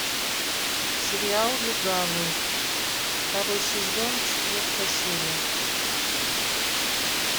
сериал легавый второй сезон четвертая серия